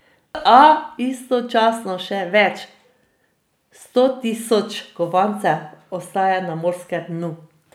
A istočasno še več sto tisoč kovancev ostaja na morskem dnu.